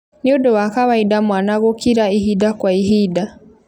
Nĩ ũndũ wa kawaida mwana gũkira ihinda kwa ihinda